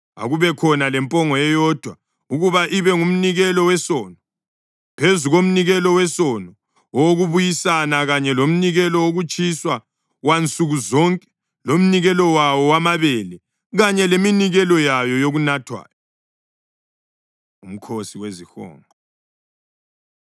Akubekhona lempongo eyodwa ukuba ibe ngumnikelo wesono, phezu komnikelo wesono, owokubuyisana kanye lomnikelo wokutshiswa wansuku zonke lomnikelo wawo wamabele, kanye leminikelo yayo yokunathwayo.’ ” UMkhosi WeziHonqo